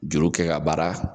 Juru kɛ ka baara